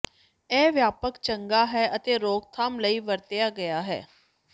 ਇਹ ਵਿਆਪਕ ਚੰਗਾ ਹੈ ਅਤੇ ਰੋਕਥਾਮ ਲਈ ਵਰਤਿਆ ਗਿਆ ਹੈ